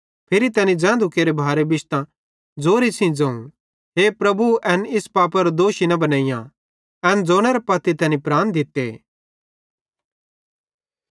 फिरी तैनी ज़ैंधू केरे भारे बिश्तां ज़ोरे सेइं ज़ोवं हे प्रभु एन इस पापेरो दोषी न बनेइयां एन ज़ोनेरां पत्ती तैनी प्राण दित्ते